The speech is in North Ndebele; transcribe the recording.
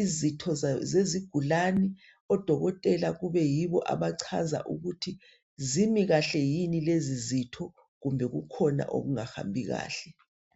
izitho zezigulani, odokotela kube yibo abachaza ukuthi zimi kahle yini lezozitho kumbe kukhona okungahambi kahle.